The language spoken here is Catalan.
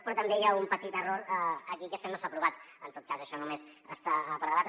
però també hi ha un petit error aquí que és que no s’ha aprovat en tot cas això només està per debatre